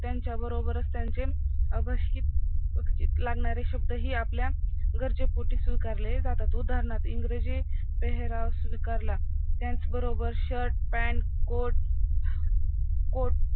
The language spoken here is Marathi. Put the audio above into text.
त्यांच्या बरोबरच त्याचे आवशीक लागणारे शब्द आपल्या ही गरजे पोटी स्वीकारले जातात उथरणार्थी इंग्रजी पेहराव स्वीकारला त्याच बरोबर shirt pant coat coat